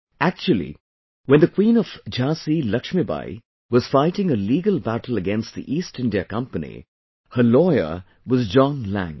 Actually, when the Queen of Jhansi Laxmibai was fighting a legal battle against the East India Company, her lawyer was John Lang